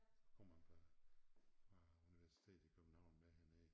Så kom han fra fra universitetet i København med herned